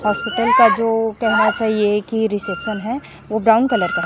अस्पताल का जो कहना चाहिए कि रिसेप्शन है वो ब्राउन कलर का--